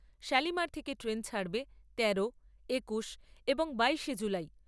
শালিমার থেকে ট্রেন ছাড়বে তেরো, একুশ এবং বাইশে জুলাই।